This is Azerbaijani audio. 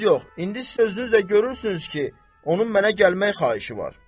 Söz yox, indi sözünüzlə görürsünüz ki, onun mənə gəlmək xahişi var.